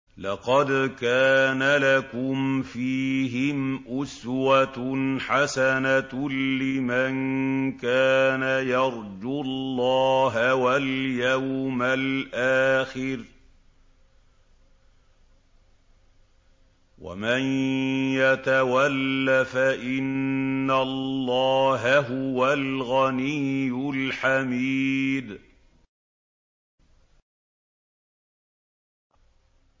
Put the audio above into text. لَقَدْ كَانَ لَكُمْ فِيهِمْ أُسْوَةٌ حَسَنَةٌ لِّمَن كَانَ يَرْجُو اللَّهَ وَالْيَوْمَ الْآخِرَ ۚ وَمَن يَتَوَلَّ فَإِنَّ اللَّهَ هُوَ الْغَنِيُّ الْحَمِيدُ